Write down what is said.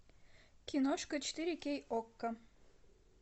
киношка четыре кей окко